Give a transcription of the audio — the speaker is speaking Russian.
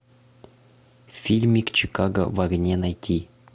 фильмик чикаго в огне найти